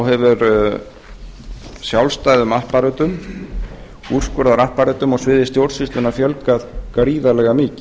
hefur sjálfstæðum apparötum úrskurðarapparötum á sviði stjórnsýslunnar fjölgað gríðarlega mikið